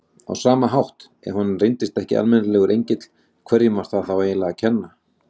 Á sama hátt, ef hann reyndist ekki almennilegur engill, hverjum var það eiginlega að kenna?